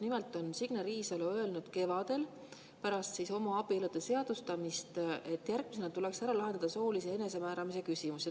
Nimelt on Signe Riisalo öelnud kevadel pärast homoabielude seadustamist, et järgmisena tuleks ära lahendada soolise enesemääramise küsimused.